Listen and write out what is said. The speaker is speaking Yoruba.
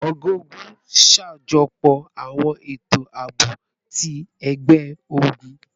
Ọga-ogun n ṣajọpọ awọn eto aabo ti ẹgbẹ-ogun